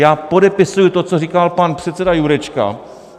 Já podepisuji to, co říkal pan předseda Jurečka.